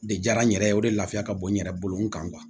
De diyara n yɛrɛ ye o de lafiya ka bon n yɛrɛ bolo n kan